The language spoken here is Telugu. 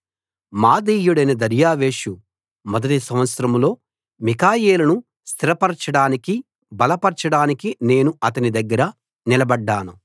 మాదీయుడైన దర్యావేషు మొదటి సంవత్సరంలో మిఖాయేలును స్థిరపరచడానికి బలపరచడానికి నేను అతని దగ్గర నిలబడ్డాను